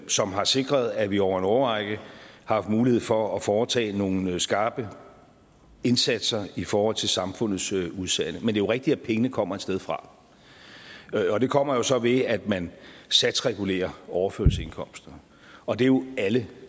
som har sikret at vi over en årrække har haft mulighed for at foretage nogle skarpe indsatser i forhold til samfundets udsatte men jo rigtigt at pengene kommer et sted fra og det kommer jo så ved at man satsregulerer overførselsindkomster og det er jo alle